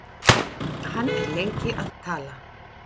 Hann er lengi að tala.